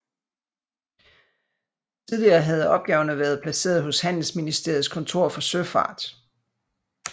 Tidligere havde opgaverne været placeret hos Handelsministeriets kontor for søfart